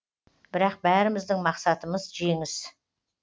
бірақ бәріміздің мақсытымыз жеңіс